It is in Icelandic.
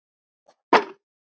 Gerður var.